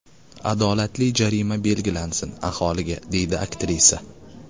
Adolatli jarima belgilansin aholiga”, deydi aktrisa.